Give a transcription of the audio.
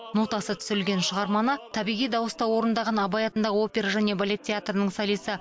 нотасы түсірілген шығарманы табиғи дауыста орындаған абай атындағы опера және балет театрының солисі